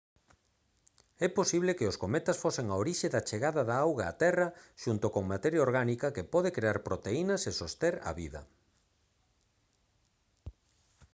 é posible que os cometas fosen a orixe da chegada da auga á terra xunto con materia orgánica que pode crear proteínas e soster a vida